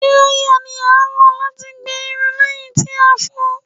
Díráíyà la lò láti gbẹ irun lẹ́yìn tí a fọ̀ọ́.